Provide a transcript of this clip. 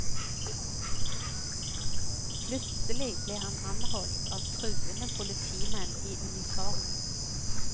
Plutselig ble han anholdt av truende politimenn i uniform.